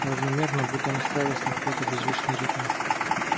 равномерно будто настраиваясь на какой-то беззвучный ритм